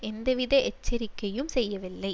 எந்தவித எச்சரிக்கையும் செய்யவில்லை